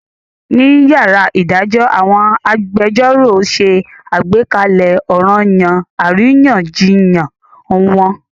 Ní yàrá ìdájọ́ àwọn agbẹjẹ́rọ̀ ṣe àgbékalẹ̀ ọranyan àríyànjiyàn wọn.